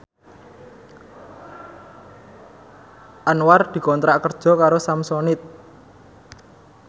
Anwar dikontrak kerja karo Samsonite